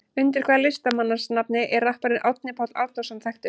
Undir hvaða listamannsnafni er rapparinn Árni Páll Árnason þekktur?